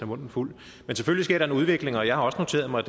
munden fuld men selvfølgelig sker der en udvikling og jeg har også noteret mig